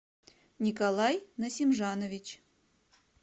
николай насимжанович